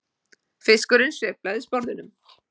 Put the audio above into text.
Fiskurinn sveiflar sporðinum.